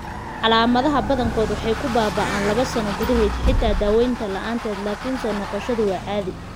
Calaamadaha badankood waxay ku baaba'aan laabo sano gudahood (xitaa daawaynta la'aanteed), laakiin soo noqoshada waa caadi.